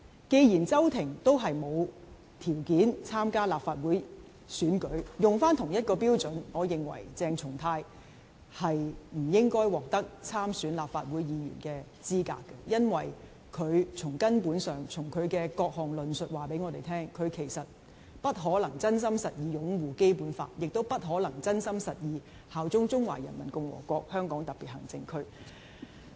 既然周庭也沒有條件參加立法會選舉，沿用同一個標準，我認為鄭松泰不應該獲得參選立法會的資格，因為從根本上，其各項論述也告訴我們，他不可能真心實意擁護《基本法》，亦不可能真心實意效忠中華人民共和國香港特別行政區。